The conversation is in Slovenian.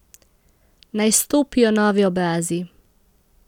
Naj stopijo novi obrazi!